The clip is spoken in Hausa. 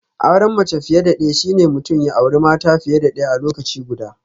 Auren mace fiye da daya shine mutum ya auri mata fiye da daya a lokaci guda